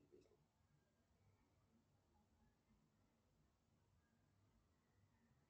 афина переведи алисе сотку с моей карты